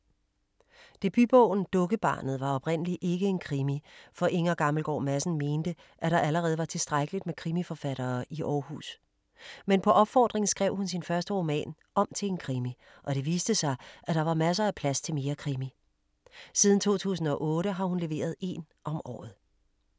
Debutbogen Dukkebarnet var oprindelig ikke en krimi, for Inger Gammelgaard Madsen mente, at der allerede var tilstrækkeligt med krimiforfattere i Aarhus. Men på opfordring skrev hun sin første roman om til en krimi og det viste sig, at der var masser af plads til mere krimi. Siden 2008 har hun leveret én om året.